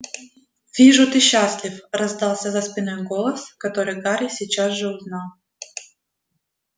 вижу ты счастлив раздался за спиной голос который гарри сейчас же узнал